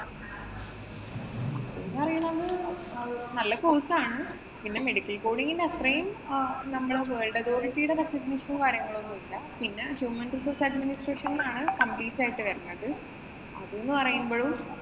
ഞാന്‍ പറയണത് നല്ല course ആണ്. പിന്നെ medical coding ഇന്‍റെ അത്രേം നമ്മടെ world authority യുടെ certificcation ഉം, കാര്യങ്ങളും ഒന്നുമില്ല. പിന്നെ Human Resource Administration എന്നാണ് complete ആയിട്ട് വരുന്നത്. അതെന്നു പറയുമ്പോഴും